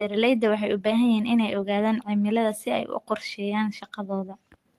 Beeralayda waxay u baahan yihiin inay ogaadaan cimilada si ay u qorsheeyaan shaqadooda.